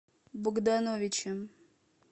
богдановичем